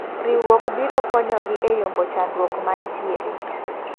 Riwruok biro konyogi e yombo chandruok mantiere.